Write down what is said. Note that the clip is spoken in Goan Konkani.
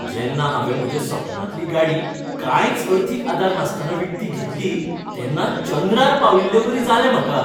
जेन्ना हांवें म्हज्या सपनांतली गाडी कांयच अर्थीक आदार नासतना विकती घेतली तेन्ना चंद्रार पाविल्लेवरी जाल्लें म्हाका.